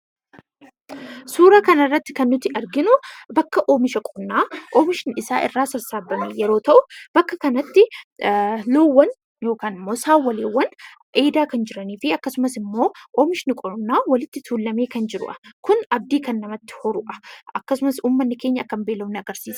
Suuraa kanarratti kan nuti arginu bakka oomisha qonnaa oomishnisaa irraa sassaabame yommuu ta'u, bakka kanatti loowwan yookaan saawwan dheedaa kan jiranii fi oomishni qonnaa walitti tuulamee kan jirudha. Kun abdii kan namatti horudha.